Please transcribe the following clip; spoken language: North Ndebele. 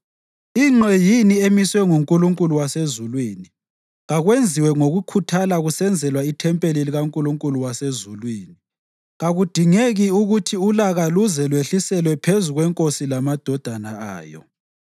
Ingqe yini emiswe nguNkulunkulu wasezulwini, kakwenziwe ngokukhuthala kusenzelwa ithempeli likaNkulunkulu wasezulwini. Kakudingeki ukuthi ulaka luze lwehliselwe phezu kwenkosi lamadodana ayo.